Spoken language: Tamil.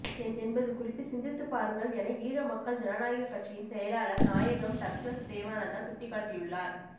என்பது குறித்து சிந்தித்துப் பாருங்கள் என ஈழ மக்கள் ஜனநாயகக் கட்சியின் செயலாளர் நாயகம் டக்ளஸ் தேவானந்தா சுட்டிக்காட்டியுள்ளார்